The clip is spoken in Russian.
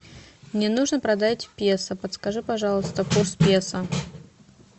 мне нужно продать песо подскажи пожалуйста курс песо